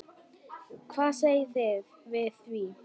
Hvað segið þið við því?